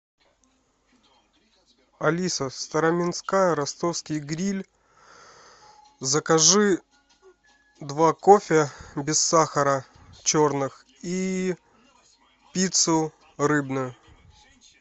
алиса староминская ростовский гриль закажи два кофе без сахара черных и пиццу рыбную